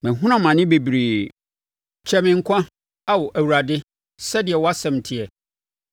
Mahunu amane bebree; kyɛe me nkwa so, Ao Awurade, sɛdeɛ wʼasɛm teɛ.